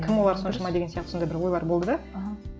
кім олар соншама деген сияқты сондай бір ойлар болды да аха